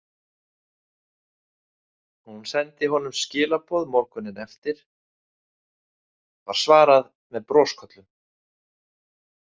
Hún sendi honum skilaboð morguninn eftir, var svarað með brosköllum.